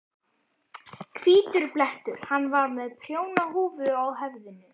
Hvítur blettur. hann var með prjónahúfu á höfðinu.